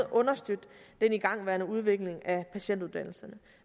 understøtte den igangværende udvikling af patientuddannelserne